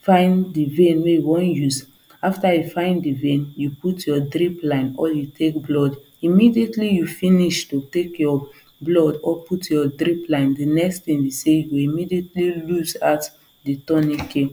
find the vein wey you wan use after you find the vein you put your drip line or you take blood immediately you finish to take your blood or put your drip line the next thing be say you immediately loose out the tourniquet